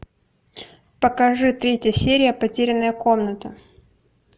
покажи третья серия потерянная комната